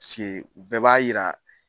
sike u bɛɛ b'a yira